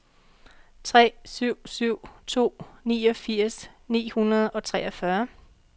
tre syv syv to niogfirs ni hundrede og treogfyrre